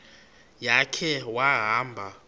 ya khe wahamba